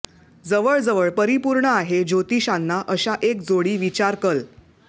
जवळजवळ परिपूर्ण आहे ज्योतिषांना अशा एक जोडी विचार कल